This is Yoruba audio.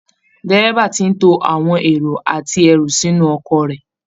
Dẹ́rẹ́bà ti ń to àwọn èrò àti ẹrù sínú ọkọ̀ rẹ